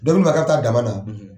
ka bi taa daba da